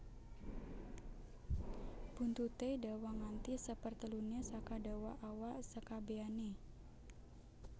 Buntuté dawa nganti seperteluné saka dawa awak sekabèané